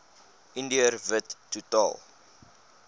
indiër wit totaal